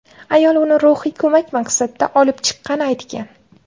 Ayol uni ruhiy ko‘mak maqsadida olib chiqqani aytgan.